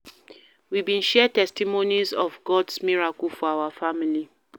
We bin share testimonies of God's miracles for our family